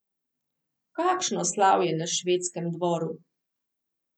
Kakšno slavje na švedskem dvoru!